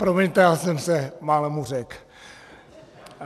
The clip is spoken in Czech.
Promiňte, já jsem se málem uřekl.